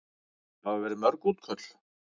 Hafa verið mörg útköll?